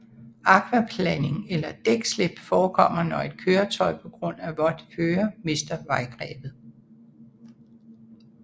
Akvaplaning eller dækslip forekommer når et køretøj på grund af vådt føre mister vejgrebet